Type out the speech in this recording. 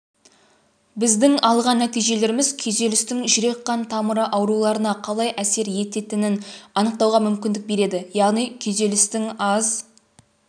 біздің алған нәтижелеріміз күйзелістің жүрек-қан тамыры ауруларына қалай әсер ететінін анықтауға мүмкіндік береді яғни күйзелістің аз